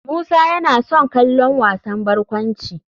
Musa yana son kallon wasan barkwanci.